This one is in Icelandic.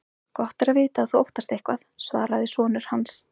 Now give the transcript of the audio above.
Gott er að vita að þú óttast eitthvað, svaraði sonur hans.